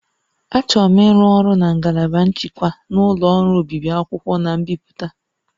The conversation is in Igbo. Achọrọ m ịrụ ọrụ na ngalaba nchịkwa na ụlọ ọrụ obibi akwụkwọ na mbipụta